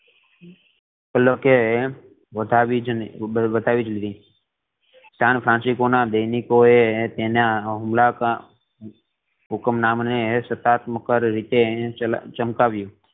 એ લોકો એ ઓટવીજ લીધી સાન ફ્રાન્સિસકો ના દૈનિકો એ તેના અમ હુકમનામ ને સકારાત્મક રીતે ચમકાવ્યું